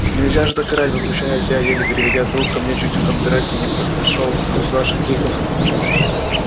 нельзя же так орать возмущаюсь я еле переведя дух ко мне чуть кондратий не пришёл от ваших криков